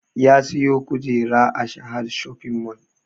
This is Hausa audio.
Ya siyo kujera a sahad shopping mall